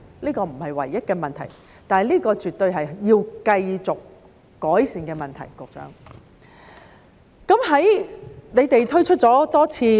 這不是唯一的問題，但這絕對是要繼續改善的問題，局長。在你們推出了多次......